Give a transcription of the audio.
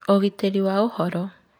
Ũgitĩri wa ũhoro